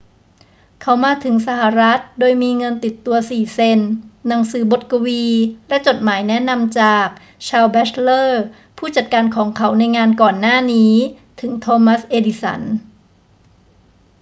เขามาถึงสหรัฐฯ โดยมีเงินติดตัว 4 เซ็นต์ หนังสือบทกวี และจดหมายแนะนำจาก ชาลส์ แบ็ตชเลอร์ ผู้จัดการของเขาในงานก่อนหน้านี้ ถึง ทอมัส เอดิสัน